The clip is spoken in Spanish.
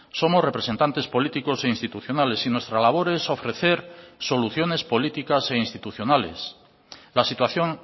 somos representantes políticos e institucionales y nuestra labor es ofrecer soluciones políticas e institucionales la situación